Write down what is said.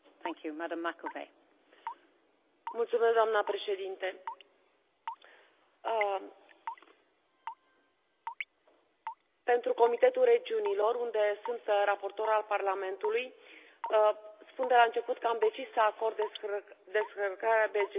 Doamnă președinte, pentru Comitetul Regiunilor, unde sunt raportor al Parlamentului, spun de la început că am decis să acord descărcarea de gestiune pentru că este o